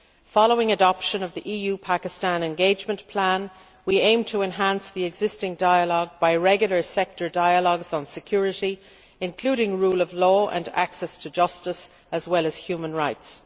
Following adoption of the EU Pakistan engagement plan, we aim to enhance the existing dialogue by regular sectoral dialogues on security, including the rule of law and access to justice, as well as human rights.